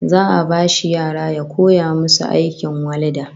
Za'a bashi yara ya koya musu aikin walda